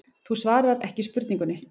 Þú svarar ekki spurningunni.